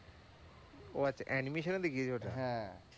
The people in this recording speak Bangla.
ও আচ্ছা animation এ দেখিয়েছে ওটা।